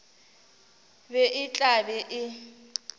be e tla be e